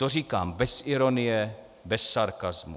To říkám bez ironie, bez sarkasmu.